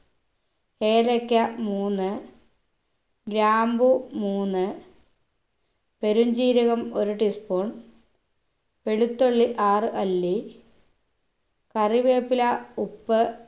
ഏലക്ക മൂന്ന് ഗ്രാമ്പൂ മൂന്ന് പെരുംജീരകം ഒരു teaspoon വെളുത്തുള്ളി ആറ് അല്ലി കറിവേപ്പില ഉപ്പ്